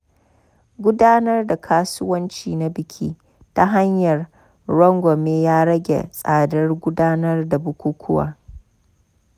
Gudanar da kasuwanci na biki ta hanyar rangwame ya rage tsadar gudanar da bukukuwa.